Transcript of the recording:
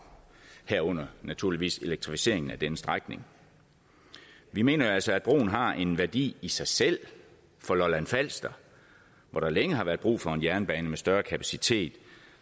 herunder naturligvis elektrificeringen af denne strækning vi mener altså at broen har en værdi i sig selv for lolland falster hvor der længe har været brug for en jernbane med større kapacitet